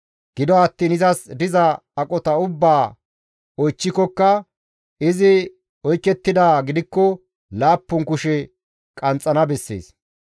Gido attiin izas diza aqota ubbaa oychchikokka izi oykettidaa gidikko laappun kushe qanxxana bessees.